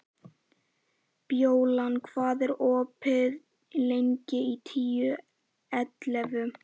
Bjólan, hvað er opið lengi í Tíu ellefu?